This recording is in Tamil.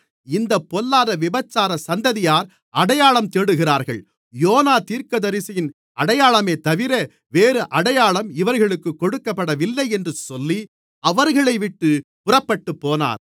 இந்தப் பொல்லாத விபசார சந்ததியார் அடையாளம் தேடுகிறார்கள் யோனா தீர்க்கதரிசியின் அடையாளமேதவிர வேறு அடையாளம் இவர்களுக்குக் கொடுக்கப்படுவதில்லை என்று சொல்லி அவர்களைவிட்டுப் புறப்பட்டுப்போனார்